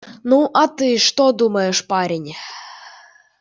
ну а ты что думаешь парень